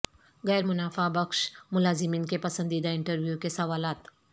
غیر منافع بخش ملازمین کے پسندیدہ انٹرویو کے سوالات